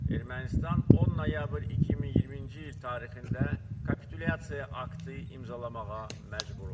Ermənistan 10 noyabr 2020-ci il tarixində kapitulyasiya aktı imzalamağa məcbur oldu.